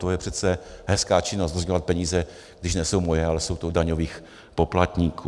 To je přece hezká činnost, rozdělovat peníze, když nejsou moje, ale jsou to daňových poplatníků.